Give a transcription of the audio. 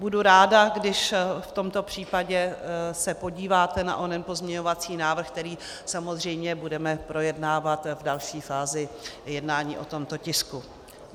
Budu ráda, když v tomto případě se podíváte na onen pozměňovací návrh, který samozřejmě budeme projednávat v další fázi jednání o tomto tisku.